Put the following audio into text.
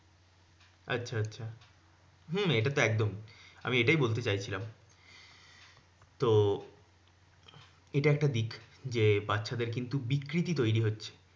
আচ্ছা আচ্ছা হম এটা তো একদমই আমি এটাই বলতে চাইছিলাম তো এটা একটা দিক যে, বাচ্চাদের কিন্তু বিকৃতি তৈরী হচ্ছে।